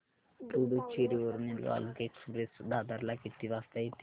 पुडूचेरी वरून चालुक्य एक्सप्रेस दादर ला किती वाजता येते